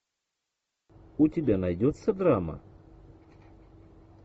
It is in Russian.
у тебя найдется драма